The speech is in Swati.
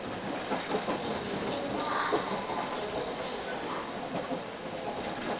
sinetimphahlatase sebusika